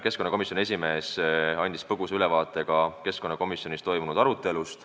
Keskkonnakomisjoni esimees andis põgusa ülevaate keskkonnakomisjonis toimunud arutelust.